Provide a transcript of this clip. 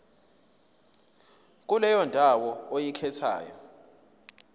kuleyo ndawo oyikhethayo